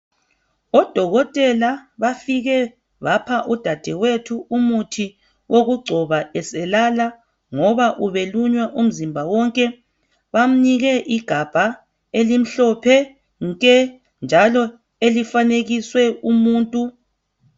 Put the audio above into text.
Odokotela bafike bapha udadewethu umuthi owokugcoba eselala ngoba ubelunywa umzimba wonke. Bamnike igabha elimhlophe nke njalo elifanekiswe umuntu.